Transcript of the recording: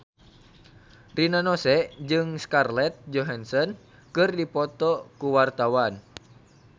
Rina Nose jeung Scarlett Johansson keur dipoto ku wartawan